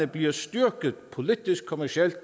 blev styrket politisk kommercielt